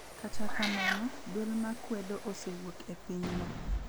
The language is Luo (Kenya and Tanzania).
Kata kamano, duol ma kwedo osewuok e pinyno.